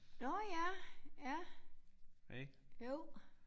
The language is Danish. Nåh ja ja jo